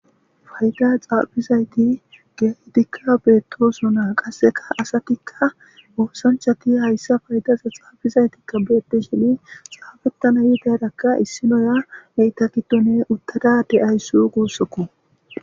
Fayda xaabizayti geydikka beettosona qasseka asatikka oosanchati hayssa faydaza xaabizaytikka beetti shini xaafettana yi daydakka issinoya leytakitone uttada de'ayss guussokko.